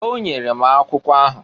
O nyelu m akwụkwọ ahụ.